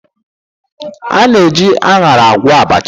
A na-eji aṅara agwọ abacha.